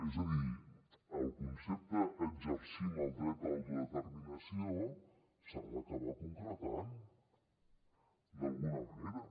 és a dir el concepte exercim el dret a l’autodeterminació s’ha d’acabar concretant d’alguna manera